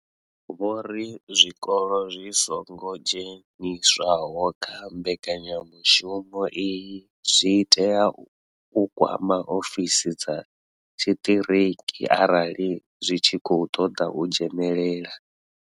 Vho ri zwikolo zwi songo dzheniswaho kha mbekanya mushumo iyi zwi tea u kwama ofisi dza tshiṱiriki arali zwi tshi khou ṱoḓa u dzhenela.